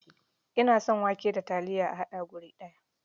Ina son wake da taliya a haɗe gu ɗaya.